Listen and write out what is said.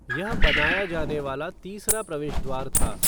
यह बनाया जाने वाला तीसरा प्रवेश द्वार था।